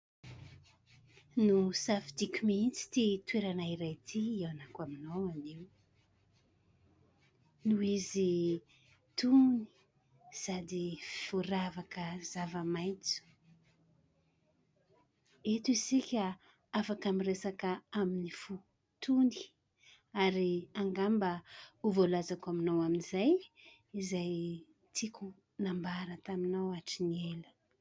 Nosafidiko mihitsy ity toerana iray ity hihaonako aminao anio noho izy tony sady voaravaka zava-maitso. Eto isika afaka miresaka amin'ny fo tony ary angamba ho voalazako aminao amin'izay izay tiako nambara taminao hatry ny ela.